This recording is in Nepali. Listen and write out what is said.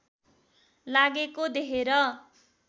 लागेको देखेर